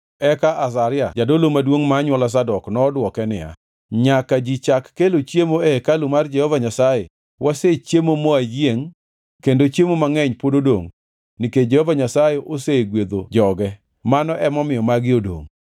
eka Azaria jadolo maduongʼ ma anywola Zadok nodwoke niya, “Nyaka ji chak kelo chiemo e hekalu mar Jehova Nyasaye, wasechiemo mawayiengʼ kendo chiemo mangʼeny pod odongʼ nikech Jehova Nyasaye osegwedho joge, mano emomiyo magi odongʼ.”